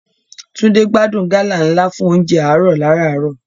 Túndé gbádùn gálà ńlá fún oúnjẹ àárọ̀ lárààárọ̀.